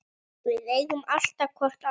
Við eigum alltaf hvort annað.